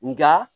Nka